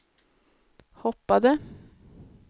hoppade